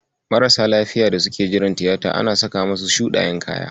Marasa lafiyar da suke jiran tiyata ana saka musu shuɗayen kaya.